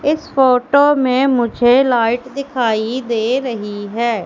इस फोटो में मुझे लाइट दिखाई दे रही है।